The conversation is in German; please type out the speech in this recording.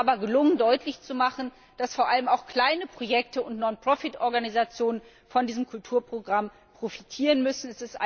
Es ist uns aber gelungen, deutlich zu machen, dass vor allem auch kleine Projekte und Non profit Organisationen von diesem Kulturprogramm profitieren müssen.